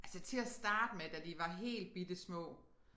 Altså til at starte med da de var helt bittesmå